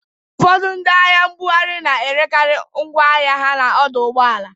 Ụfọdụ ndị ahịa nbughari na-erekarị ngwọ ahịa ha n'ọdọ ụgbọala